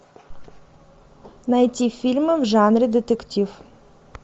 найти фильмы в жанре детектив